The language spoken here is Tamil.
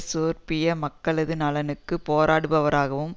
சேர்பிய மக்களது நலனுக்கு போராடுபவராகவும்